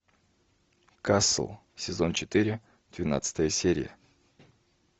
касл сезон четыре двенадцатая серия